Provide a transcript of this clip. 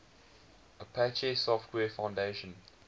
apache software foundation